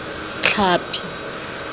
tlhapi